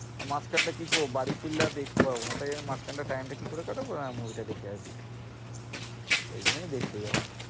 মাঝখানটা কি করবো বাড়ি ফিরলে আর দেখতে পারবো না তাই জন্য মাঝখানটা time টা কি করে কাটাবো? হ্যাঁ movie টা দেখে আসি সেই জন্যই দেখতে যাওয়া।